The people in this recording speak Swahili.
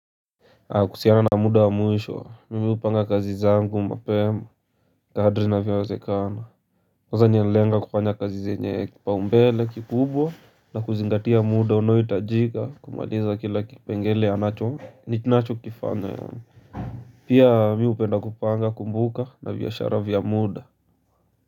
Kuhusiana na muda wa mwisho, mimi hupanga kazi zangu, mapema, kadri inavyowezekana kwanza naendeleanga kufanya kazi zenye kipaumbele, kikubwa na kuzingatia muda unoahitajika kumaliza kila kipengele ninacho kifanya Pia mimi hupenda kupanga kumbuka na biashara vya muda.